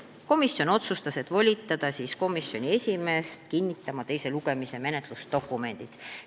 Komisjon otsustas volitada komisjoni esimehe kinnitama teise lugemise menetlusdokumendid.